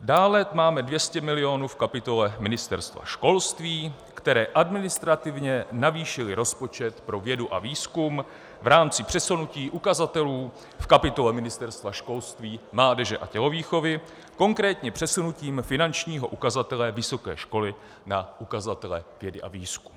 Dále máme 200 milionů v kapitole Ministerstva školství, které administrativně navýšilo rozpočet pro vědu a výzkum v rámci přesunutí ukazatelů v kapitole Ministerstva školství, mládeže a tělovýchovy, konkrétně přesunutím finančního ukazatele vysoké školy na ukazatele vědy a výzkumu.